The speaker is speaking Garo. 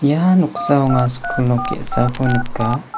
ia noksao anga skul nok ge·sako nika.